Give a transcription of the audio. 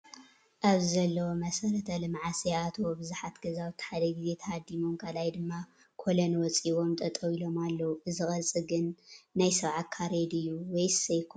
ኣብዚ ዘለው መሰረተ-ልምዓት ዘይኣተዎ ብዙሓት ገዛውቲ ሓደ ግዜ ተሃዲሞም ካልኣይ ድማ ኮለን ወፂኢዎም ጠጠው ኢሎም ኣለው። እዚ ቅርፂ ግን ናይ 70 ካሬ ድዩ ? ወይስ ኣይኮነን ?